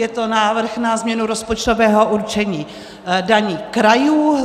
Je to návrh na změnu rozpočtového určení daní krajů.